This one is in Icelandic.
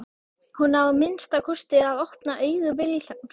Hún á að minnsta kosti að opna augu Vilhjálms.